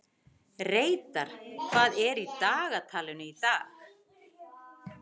Reidar, hvað er í dagatalinu í dag?